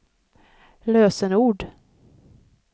lösenord